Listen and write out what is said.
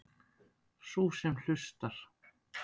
Sú sem hlustar.